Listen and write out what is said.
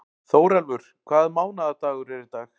Þórelfur, hvaða mánaðardagur er í dag?